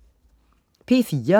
P4: